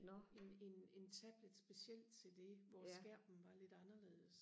en en en tablet specielt til det hvor skærmen var lidt anderledes